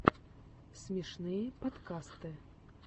смешные подкасты